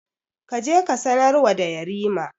Ka je ka sanarwa da Yarima.